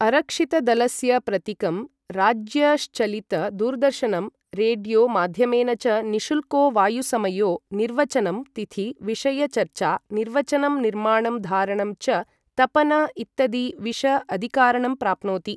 अरक्षितदलस्य प्रतिकं राज्यशञ्चलित दूरदर्शनं रेड्यो माद्यमेन च निशुल्को वायुसमयो निर्वचनं तिथि विषय चर्चा निर्वचनं निर्माणं धारणं च तपन इत्तदी विष अदिकारणं प्राप्नोति